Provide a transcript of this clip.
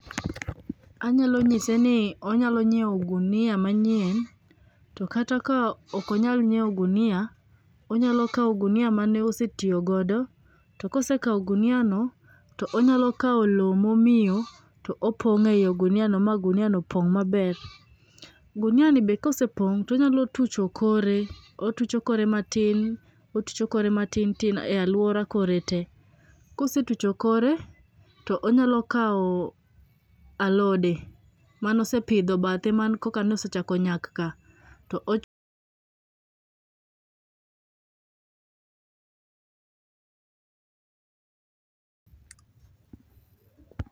Anyalo nyise ni onyalo nyiewo ogunia manyien to kata kaok onyal nyiewo ogunia, onyalo kawo ogunia mane osetiyo godo. To kose kawo oguniano, onyalo kawo lowo mamiyo to opong'o e oguniano ma oguniano pong' maber. Guniani be kosepong' to onyalo tucho kore, otucho kore matin otucho kore matin tin e aluora kore te. Kosetucho kore, to onyalo kawo alode mane osepidho bathe mane koka osechako nyak ka, to ok.